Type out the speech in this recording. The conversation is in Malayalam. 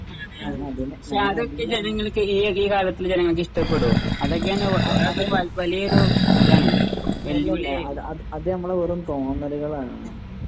അത് അത് നമ്മുടെ വെറും തോന്നലാണ്.